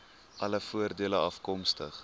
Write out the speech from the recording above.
alle voordele afkomstig